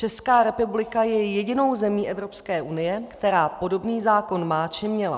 Česká republika je jedinou zemí Evropské unie, která podobný zákon má či měla.